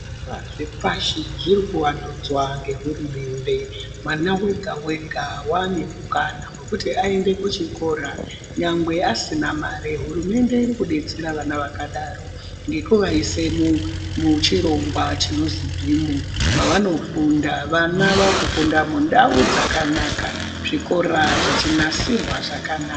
Zvikora zve pashi zviri ku wandudzwa nge hurumende mwana wega wega wane mukana wekuti ayende ku chikora nyangwe asina mari hurumende iri kudetsera vana vakadaro ngeku vaise mu chirongwa chinonzi bhimu mavano funda vana vaku funda mundau dzakanaka zvikora zvechi nasirwa zvakanaka.